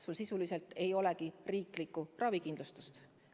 Tal sisuliselt ei olegi riiklikku ravikindlustust.